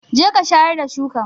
Jeka shayar da shukan!